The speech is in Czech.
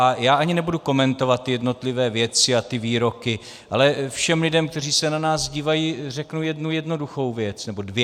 A já ani nebudu komentovat ty jednotlivé věci a ty výroky, ale všem lidem, kteří se na nás dívají, řeknu jednu jednoduchou věc, nebo dvě.